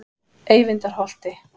Eyvindarholti